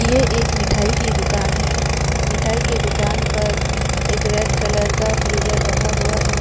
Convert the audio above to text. ये एक मिठाई कि दुकान है मिठाई के दुकान पर एक रेड कलर का फ्रीजर रखा हुआ है।